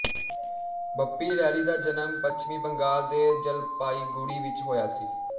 ਬੱਪੀ ਲਹਿਰੀ ਦਾ ਜਨਮ ਪੱਛਮੀ ਬੰਗਾਲ ਦੇ ਜਲਪਾਈਗੁੜੀ ਵਿੱਚ ਹੋਇਆ ਸੀ